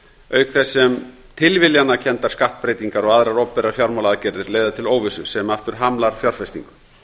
auk þess sem tilviljanakenndar skattbreytingar og aðrar opinberar fjármálaaðgerðir leiða til óvissu sem aftur hamlar fjárfestingu